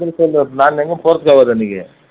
அப்படி சொல்லலை நான் எங்கயும் போறதுக்கு ஆகாது அன்னைக்கு